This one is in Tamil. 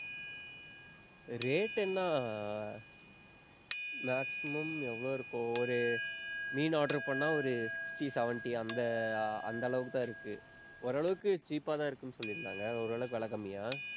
rate ன்னா, maximum எவ்வளோ இருக்கு? ஒரு மீன் order பண்ணா ஒரு sixty, seventy அந்த அந்த அளவுக்குத்தான் இருக்கு. ஓரளவுக்கு cheap அ தான் இருக்குன்னு, சொல்லியிருந்தாங்க. ஓரளவுக்கு விலை கம்மியா